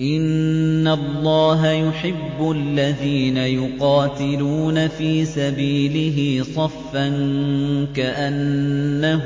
إِنَّ اللَّهَ يُحِبُّ الَّذِينَ يُقَاتِلُونَ فِي سَبِيلِهِ صَفًّا كَأَنَّهُم